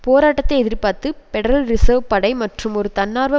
போராட்டத்தை எதிர்பார்த்து federal reserve படை மற்றும் ஒரு தன்னார்வ